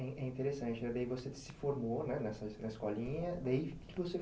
É interessante, daí você se formou, né, nessa escolinha, daí